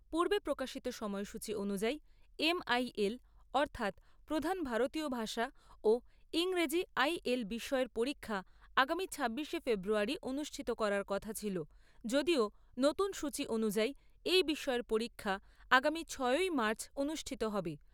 পূর্বে প্রকাশিত সময়সূচী অনুযায়ী এম আই এল অর্থাৎ প্রধান ভারতীয় ভাষা ও ইংরেজী আই এল বিষয়ের পরীক্ষা আগামী ছাব্বিশে ফেব্রুয়ারী অনুষ্ঠিত করার কথা ছিল যদিও নতুন সূচী অনুযায়ী এই বিষয়ের পরীক্ষা আগামী ছ'ই মার্চ অনুষ্ঠিত হবে।